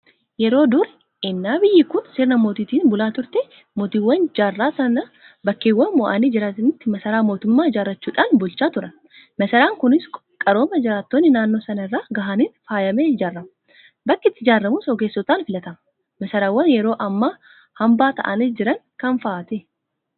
Yeroo durii ennaa biyyi kun sirna mootiitiin bulaa turte; Mootiiwwan jaarraa sanaa bakkeewwan mo'anii jiranitti masaraa mootummaa ijaarrachuudhaan bulchaa turan. Masaraan kunis qarooma jiraattonni naannoo sanaa irra gahaniin faayamee ijaarama. Bakki itti ijaaramus ogeessotaan filatama. Masaraawwan yeroo ammaa hanbaa ta'anii jiran kam fa'aati?